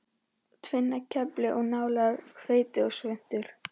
Tvinnakefli og nálar, hveiti og svuntur.